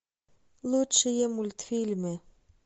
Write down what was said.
лучшие мультфильмы